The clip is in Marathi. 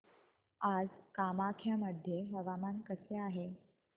आज कामाख्या मध्ये हवामान कसे आहे